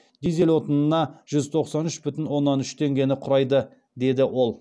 дизель отынына жүз тоқсан үш бүтін оннан үш теңгені құрайды деді ол